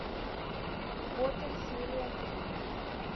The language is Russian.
готэм серия три